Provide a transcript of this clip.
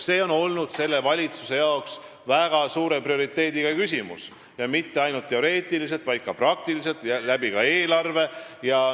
See on olnud selle valitsuse jaoks väga prioriteetne küsimus ja mitte ainult teoreetiliselt, vaid ka praktiliselt, sh eelarve mõttes.